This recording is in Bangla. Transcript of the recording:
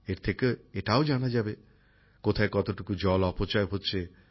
এর থেকে এটাও জানা যাবে কোথায় কতটুকু জল অপচয় হচ্ছে